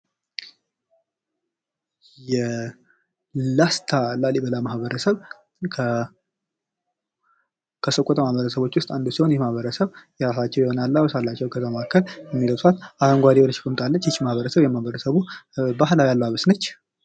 የላስታ ላሊበላ ማህበረሰብ ከሰቆጣ ማህበረሰቦች ውስጥ አንዱ ሲሆን ይህ ማህበረሰብ የራሳቸው የሆነ አለባበስ አላቸው። ከዛ መካከል የሚለብሷት አረንጓዴ የሆነች ቁምጣ አለች። ይቺም ማህበረሰብ የማህበረሰቡ ባህላዊ አለባበስ ነች።